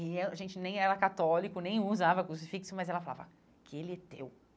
E eu a gente nem era católico, nem usava crucifixo, mas ela falava que ele é teu.